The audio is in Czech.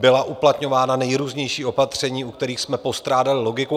Byla uplatňována nejrůznější opatření, u kterých jsme postrádali logiku.